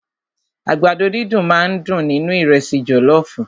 Àgbàdo dídùn máà ń dùn nínú ìrẹ́sì jọlọọfu.